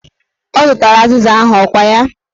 Ọ zụtara azịza ahụ, ọkwa ya?